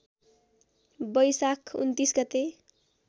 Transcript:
बैशाख २९ गते